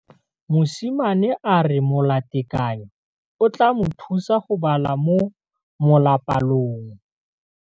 Mosimane a re molatekanyô o tla mo thusa go bala mo molapalong.